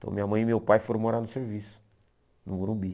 Então minha mãe e meu pai foram morar no serviço, no Morumbi.